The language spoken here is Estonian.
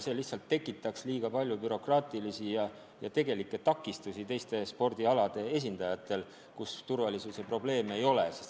See lihtsalt tekitaks liiga palju bürokraatlikke ja muid takistusi spordialadel, kus turvalisuse probleeme ei ole.